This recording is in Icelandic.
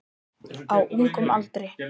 Á ungum aldri.